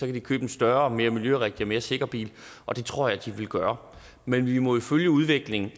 de købe en større mere miljørigtig og mere sikker bil og det tror jeg de vil gøre men vi må jo følge udviklingen